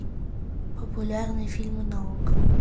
популярные фильмы на окко